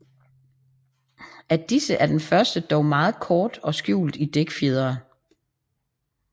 Af disse er den første dog meget kort og skjult i dækfjerene